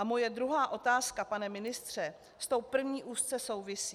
A moje druhá otázka, pane ministře, s tou první úzce souvisí.